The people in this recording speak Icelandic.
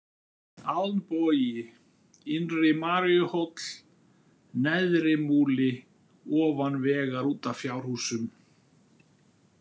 Alnbogi, Innri-Maríuhóll, Neðrimúli, Ofan vegar út af fjárhúsum